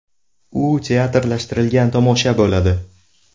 U teatrlashtirilgan tomosha bo‘ladi.